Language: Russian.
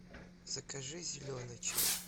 закажи зеленый чай